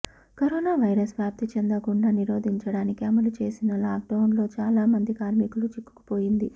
corona virus వ్యాప్తి చెందకుండా నిరోధించడానికి అమలు చేసిన లాక్డౌన్ లో చాలా మంది కార్మికులు చిక్కుకుపోయింది